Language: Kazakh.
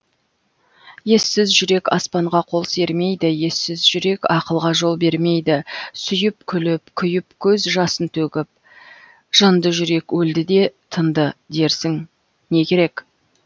ессіз жүрек аспанға қол сермейді ессіз жүрек ақылға жол бермейді сүйіп күліп күйіп көз жасын төгіп жынды жүрек өлді де тынды дерсің не керек